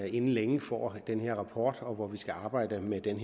inden længe får den her rapport og hvor vi skal arbejde med den